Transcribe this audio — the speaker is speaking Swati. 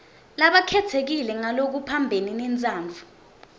labakhetsekile ngalokuphambene nentsandvo